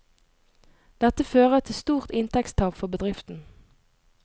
Dette fører til stort inntektstap for bedriften.